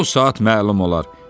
Bu saat məlum olar."